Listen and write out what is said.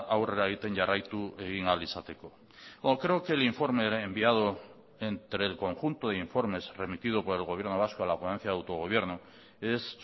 aurrera egiten jarraitu egin ahal izateko o creo que el informe era enviado entre el conjunto de informes remitido por el gobierno vasco a la ponencia de autogobierno es